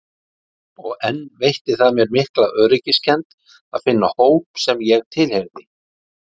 Og enn veitti það mér mikla öryggiskennd að finna hóp sem ég tilheyrði.